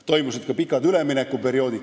Seal olid ka pikad üleminekuperioodid.